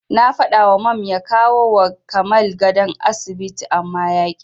Na faɗawa Mam ya kawowa Kamal gadon asibiti amma yaƙi.